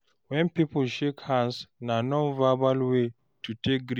When pipo shake hands, na non-verbal way to take greet